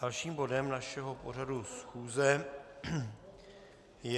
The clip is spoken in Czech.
Dalším bodem našeho pořadu schůze je